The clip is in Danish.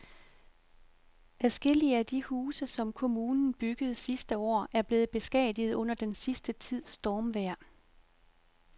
Adskillige af de huse, som kommunen byggede sidste år, er blevet beskadiget under den sidste tids stormvejr.